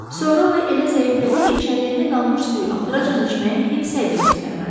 Sonra o elə zəiflədi ki, çəlləkdə qalmış suyu axıracan içməyə heç səy də göstərmədi.